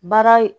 Baara